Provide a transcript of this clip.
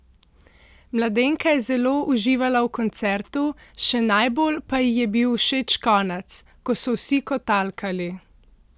Mladenka je zelo uživala v koncertu, še najbolj pa ji je bil všeč konec: "Ko so vsi kotalkali.